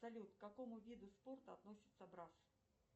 салют к какому виду спорта относится брасс